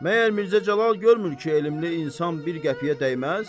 Məyər Mirzə Cəlal görmür ki, elmli insan bir qəpiyə dəyməz?